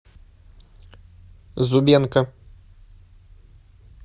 зубенко